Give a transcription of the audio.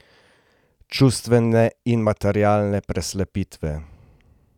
Čustvene in materialne preslepitve.